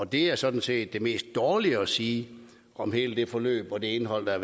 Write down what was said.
det er sådan set det mest dårlige at sige om hele det forløb og det indhold der